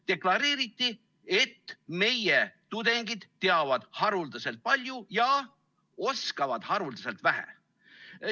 Deklareeriti, et meie tudengid teavad haruldaselt palju ja oskavad haruldaselt vähe.